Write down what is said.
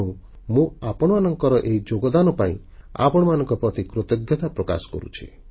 ତେଣୁ ମୁଁ ଆପଣମାନଙ୍କର ଏହି ଯୋଗଦାନ ପାଇଁ ଆପଣମାନଙ୍କ ପ୍ରତି କୃତଜ୍ଞତା ପ୍ରକାଶ କରୁଛି